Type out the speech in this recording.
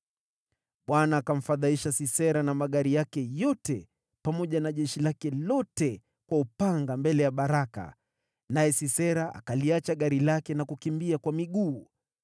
Bwana akamfadhaisha Sisera na magari yake yote, pamoja na jeshi lake lote kwa upanga mbele ya Baraka, naye Sisera akaliacha gari lake na kukimbia kwa miguu.